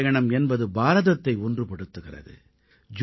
புனிதப் பயணம் என்பது பாரதத்தை ஒன்றுபடுத்துகிறது